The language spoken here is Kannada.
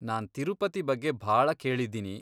ನಾನ್ ತಿರುಪತಿ ಬಗ್ಗೆ ಭಾಳ ಕೇಳಿದೀನಿ.